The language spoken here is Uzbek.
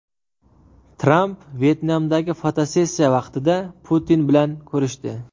Tramp Vyetnamdagi fotosessiya vaqtida Putin bilan ko‘rishdi.